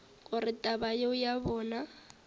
gore taba yeo ya bona